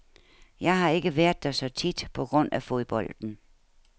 Jeg har ikke været der så tit på grund af fodbolden.